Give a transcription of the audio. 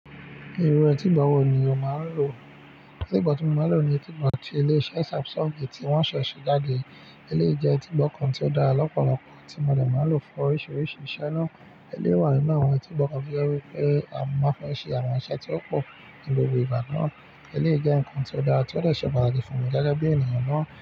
Irú etígbọ́ wo ni o máa ń lò? Etíìgbọ́ tí mo máa ń lo ni etíìgbọ́ ti ile iṣẹ́ Samsung, ti won ṣẹ̀ẹ̀ ṣe jáde. Eléyìí jẹ́ etíìgbọ́ kan tí ó dára lọ́pọ̀lọpọ̀ tí mo lè máa ń lò fún oríṣiríṣi iṣẹ́ náà. Eléyìí wà nínú àwọn etígbọ́ kan tí ó jẹ́ wí pé a máa ń fi ṣe àwọn iṣẹ́ tí ó pọ̀ ní gbogbo ìgbà náà. Eléyìí jẹ́ nǹkan tí ó dára tí ó dẹ̀ ṣe pàtàkì fún mi jákèjá bí ènìyàn náà.